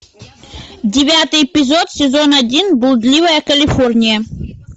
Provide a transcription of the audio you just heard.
девятый эпизод сезон один блудливая калифорния